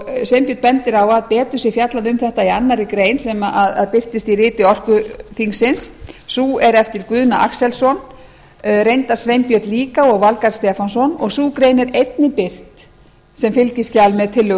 sveinbjörn bendir á að betur sé fjallað um þetta í annarrar grein sem birtist í riti orkuþingsins sú er eftir guðna axelsson reyndar sveinbjörn líka og valgarð stefánsson og sú grein er einnig birt sem fylgiskjal með tillögu